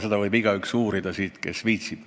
Seda kõike võib siit uurida igaüks, kes viitsib.